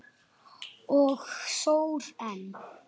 Þetta er mjólk.